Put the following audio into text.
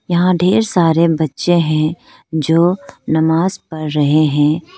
यहां ढेर सारे बच्चे हैं जो नमाज पढ़ रहे हैं।